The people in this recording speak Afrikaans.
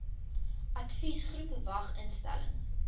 adviesgroep vwag instelling